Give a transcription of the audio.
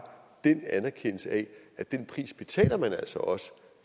den anerkendelse af at den pris betaler man altså også